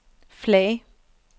flag